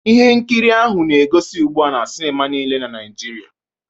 Ihe nkiri a na-egosi ugbu a na sinima niile dị na Naịjirịa